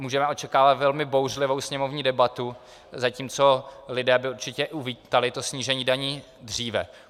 Můžeme očekávat velmi bouřlivou sněmovní debatu, zatímco lidé by určitě uvítali to snížení daní dříve.